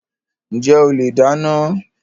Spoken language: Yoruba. Njẹ ole dáná?